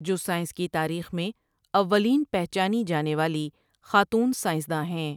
جو سائنس کی تاریخ میں اوّلین پہچانی جانے والی خاتون سائنس داں ہیں ۔